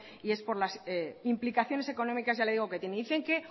y es por las implicaciones económicas ya le digo que tienen dicen que